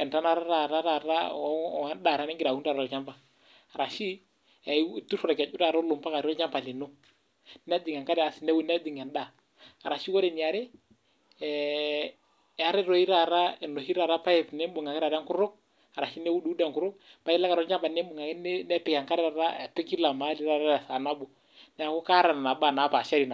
entanata taata taat endaa nigira aun tolchamba arashu itur olkeju olo ampaka olchamba lino nejing' enkare asi najing' endaa arashu ore eniare ee eetae toi taata enoshoi taata paep taata niimbung' ake taata enkutuk arashu niuduudu enkutuk pailo ake atua olchamba nimbung' ake nepik enkare taata kila maali taata tesaa nabo, neeku kaata neba baa naapashari.